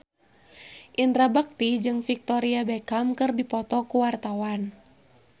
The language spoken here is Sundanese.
Indra Bekti jeung Victoria Beckham keur dipoto ku wartawan